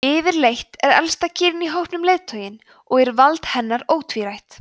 yfirleitt er elsta kýrin í hópnum leiðtoginn og er vald hennar ótvírætt